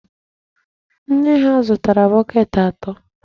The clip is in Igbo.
Nne ha zụtara bọket ato.